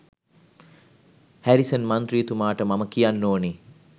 Harrison මන්ත්‍රීතුමාට මම කියන්න ඕනේ